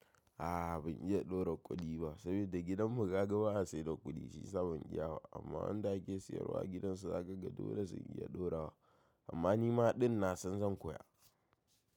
A'a ban iya ɗora kudi ba saboda gidan mu kaga ba a siyar da kudi shiyasa ban iya ba amma wanda ake siyarwa agidansu ya zakaga dole ze iya dorawa amma nima ɗin na san zan koya.